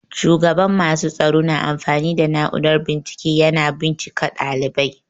Shugaban masu tsaro na amfani da na'urar bincike yana bincika ɗalibai.